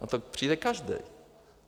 Na to přijde každý!